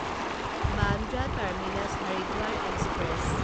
Bandra terminus Haridwar express